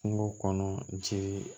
Kungo kɔnɔ ci